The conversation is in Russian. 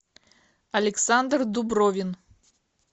александр дубровин